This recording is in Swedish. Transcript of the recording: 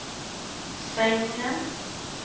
sängen